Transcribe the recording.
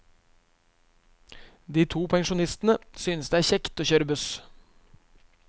De to pensjonistene synes det er kjekt å kjøre buss.